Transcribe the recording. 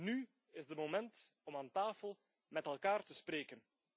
Nu is het moment om aan tafel met elkaar te spreken.